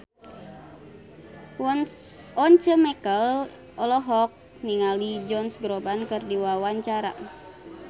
Once Mekel olohok ningali Josh Groban keur diwawancara